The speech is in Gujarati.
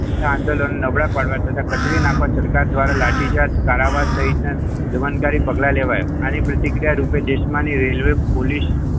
આંદોલન નબળા પાડવા તથા કચરી નાખવા સરકાર દ્વારા રેલવે પોલીસ